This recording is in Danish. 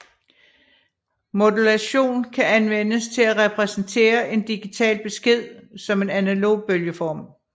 Modulation kan anvendes til at repræsentere en digital besked som en analog bølgeform